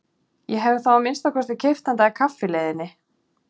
Ég hefði þá að minnsta kosti keypt handa þér kaffi í leiðinni.